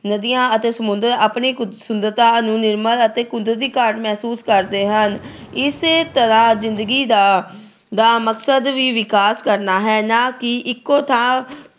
ਨਦੀਆਂ ਅਤੇ ਸਮੁੰਦਰ ਆਪਣੇ ਸੁੰਦਰਤਾ ਨੂੰ ਨਿਰਮਲ ਅਤੇ ਕੁਦਰਤੀ ਘਾਟ ਮਹਿਸੂਸ ਕਰਦੇ ਹਨ। ਇਸੇ ਤਰ੍ਹਾਂ ਜਿੰਦਗੀ ਦਾ ਅਹ ਦਾ ਮਕਸਦ ਵੀ ਵਿਕਾਸ ਕਰਨਾ ਹੈ। ਨਾ ਹੀ ਇੱਕੋ ਥਾਂ